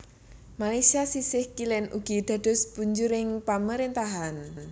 Malaysia sisih kilen ugi dados punjering pamarentahan